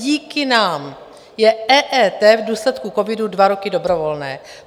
Díky nám je EET v důsledku covidu dva roky dobrovolné.